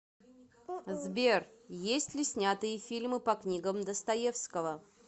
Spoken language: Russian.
сбер есть ли снятые фильмы по книгам достоевского